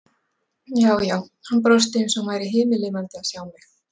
Já, já, hann brosti eins og hann væri himinlifandi að sjá mig!